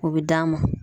O bɛ d'a ma